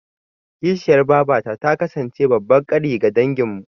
Kishiyar babata ta kasance babban ƙari ga danginmu.